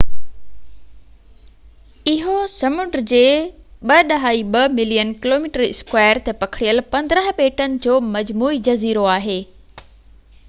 اهو سمنڊ جي 2.2 ملين km2 تي پکڙيل 15 ٻيٽن جو مجموعي جزيرو آهي